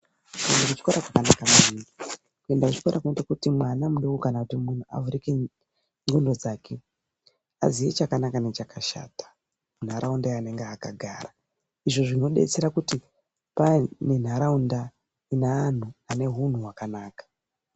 Kuende kuchikora kwakanaka maningi kuenda kuchikoro kunoita kuti mwana mudoko kana kuti muntu avhurike ndxondo dzake aziye chakanaka nechakashata muntaraunda yaanenge akagara. Izvo zvinobetsera kuti pani nentaraunda ine antu anehunhu hwakanaka.